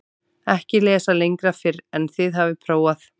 EKKI LESA LENGRA FYRR EN ÞIÐ HAFIÐ PRÓFAÐ